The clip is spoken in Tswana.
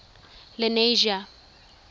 lenasia